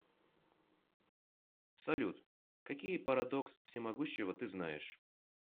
салют какие парадокс всемогущего ты знаешь